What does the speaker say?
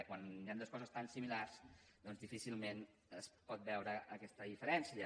quan hi han dues coses tan similars doncs difícilment es pot veure aquesta diferència